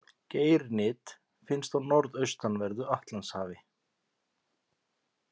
Geirnyt finnst á norðaustanverðu Atlantshafi.